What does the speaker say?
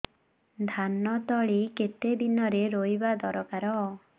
ଧାନ ତଳି କେତେ ଦିନରେ ରୋଈବା ଦରକାର